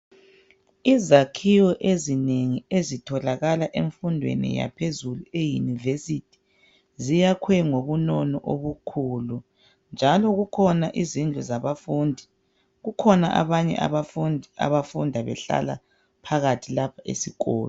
Izakhiwo ezinengi ezitholakala emfundweni yaphezulu eyunivesithi ziyakhwe ngobunono obukhulu njalo kukhona izindlu zabafundi. Kukhona abanye abafundi abafunda behlala phakathi lapho esikolo.